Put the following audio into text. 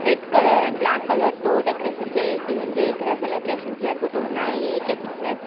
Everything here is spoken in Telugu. Red colour and black colour తో డెకరేషన్ చేసి ఉంది. ఇక్కడ సెలబ్రేషన్ జరుగుతు ఉన్నాయి. ఇది ఎ కె ఫిట్నెస్ --